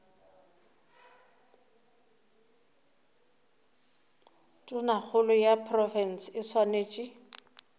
tonakgolo ya profense e swanetše